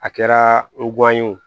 A kɛra ye wo